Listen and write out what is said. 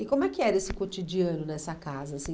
E como é que era esse cotidiano nessa casa, assim?